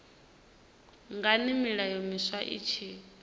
ngani milayo miswa i tshi